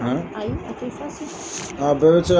Ayi a tɛ fɔ sisan bɛɛ se ka